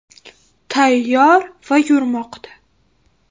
Tayyor va yurmoqda.